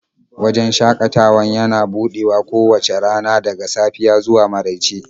Wajen shakatawan yana buɗewa kowace rana daga safiya zuwa marauice